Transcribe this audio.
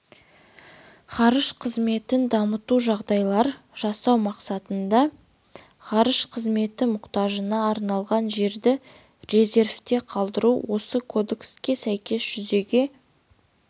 ғарыш қызметін дамыту үшін жағдайлар жасау мақсатында ғарыш қызметі мұқтажына арналған жерді резервте қалдыру осы кодекске сәйкес жүзеге